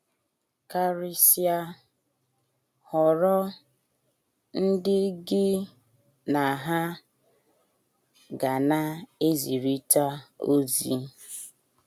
Karịsịa, họrọ ndị gị na ha ga na - ezirịta ozi.